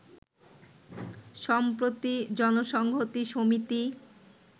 সম্প্রতি জনসংহতি সমিতি